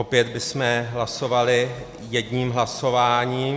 Opět bychom hlasovali jedním hlasováním.